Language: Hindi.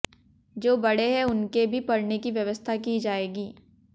जो बड़े हैं उनके भी पढ़ने की व्यवस्था की जाएगी